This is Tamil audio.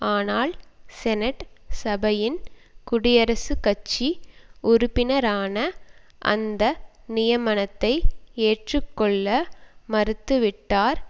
ஆனால் செனட் சபையின் குடியரசுக்கட்சி உறுப்பினரான அந்த நியமனத்தை ஏற்றுக்கொள்ள மறுத்து விட்டார்